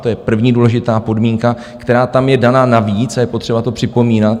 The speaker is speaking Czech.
To je první důležitá podmínka, která tam je daná navíc, a je potřeba to připomínat.